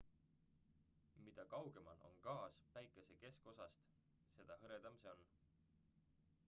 mida kaugemal on gaas päikese keskosast seda hõredam see on